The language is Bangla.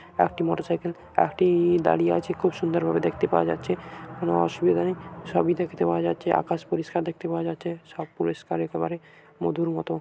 একটি মোটরসাইকেল এক-টি দাঁড়িয়ে আছে খুব সুন্দর ভাবে দেখতে পাওয়া যাচ্ছে কোন অসুবিধা নেই সবই দেখতে পাওয়া যাচ্ছে আকাশ পরিষ্কার দেখতে পাওয়া যাচ্ছে সব পরিষ্কার একেবারে মধুর মতো।